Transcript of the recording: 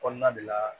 Kɔnɔna de la